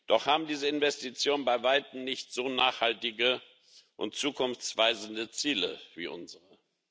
Doch haben diese Investitionen bei weitem nicht so nachhaltige und zukunftsweisende Ziele wie unsere.